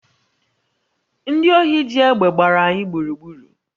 Ndị ohi ji egbe gbara anyị gburugburu